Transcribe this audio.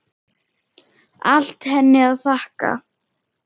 Allt henni að þakka.